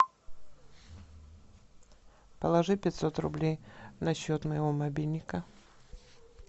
положи пятьсот рублей на счет моего мобильника